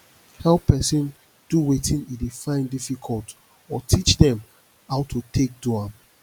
help persin do wetin e de find difficult or teach dem how to take do am